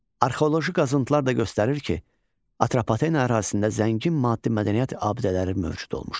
Arxeoloji qazıntılar da göstərir ki, Atropatena ərazisində zəngin maddi mədəniyyət abidələri mövcud olmuşdur.